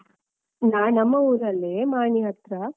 ನಾನು ನಮ್ಮ ಊರಲ್ಲೇ, ಮಾಣಿ ಹತ್ರ.